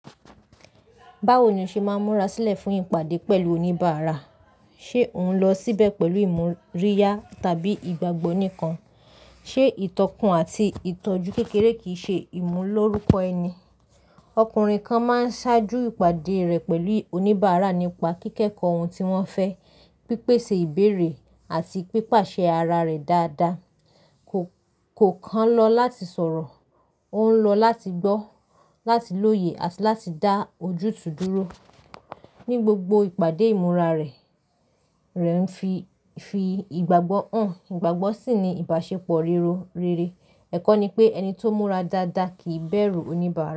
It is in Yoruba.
Báwo ni o ṣe máa ń múra sílẹ̀ fún ìpàdé pẹ̀lú oníbàárà? Ṣé ò ń lọ síbẹ̀ pẹ̀lú ìmúríyá tàbí ìgbàgbọ́ nìkan? Ṣé ìtọ́kun àti ìtọ́jú kékeré kì í ṣe ìmú lóru kọ ẹni? Ọkùnrin kan máa ń ṣáájú ìpàdé rẹ̀ pẹ̀lú oníbàárà nípa kíkẹ́kọ̀ọ́ ohun tí wọ́n fẹ́, pípèsè ìbéèrè àti pípàṣẹ ara rẹ̀ dáadáa. Kò, kò kan lọ láti sọ̀rọ̀. Ó ń lọ láti gbọ́, láti lóye àti láti dá ojú tu dúró. Ní gbogbo ìpàdé ìmúra rẹ̀, rẹ̀ ń fi, fi ìgbàgbọ́ hàn. Ìgbàgbọ́ sì ni ìbáṣepọ̀ rere. Ẹ̀kọ́ ni pé ẹni tó múra dáadáa kì í bẹ̀rù oníbàárà.